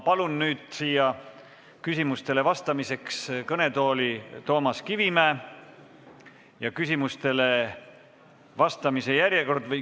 Palun küsimustele vastamiseks kõnetooli Toomas Kivimägi.